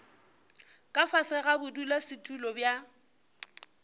ka fase ga bodulasetulo bja